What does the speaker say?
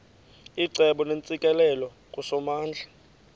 icebo neentsikelelo kusomandla